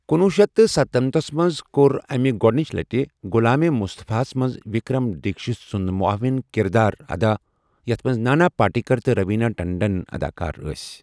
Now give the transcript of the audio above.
کنۄہ شیتھ ستنمنتھ منٛز كو٘ر أمہِ گۄڈٕنِچہِ لَٹہِ غلامے مصطفیٰ ہَس منٛز وکرم دیکشت سُنٛد معاون کِردار ادا ، یَتھ منٛز نانا پاٹیکر تہٕ روینہ ٹنڈنَن اداکٲر ٲسۍ ۔